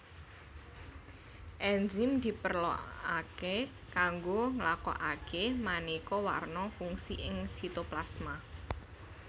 Enzim diperlokaké kanggo nglakokaké manéka warna fungsi ing sitoplasma